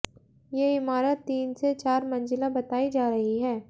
ये इमारत तीन से चार मंजिला बताई जा रही है